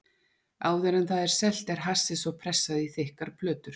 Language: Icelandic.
Áður en það er selt er hassið svo pressað í þykkar plötur.